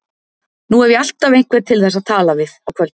Nú hef ég alltaf einhvern til þess að tala við á kvöldin.